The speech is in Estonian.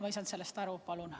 Ma ei saanud sellest aru.